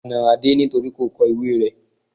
A na Adé nítorí kò kọ ìwée rẹ́.